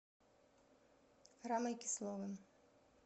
рамой кисловым